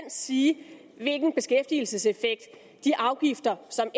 sige hvilken beskæftigelseseffekt de afgifter som